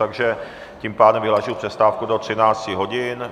Takže tím pádem vyhlašuji přestávku do 13 hodin.